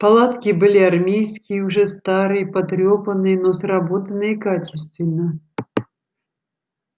палатки были армейские уже старые потрёпанные но сработанные качественно